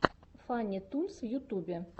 фанни тунс в ютюбе